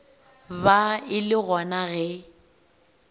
ba e le gona ge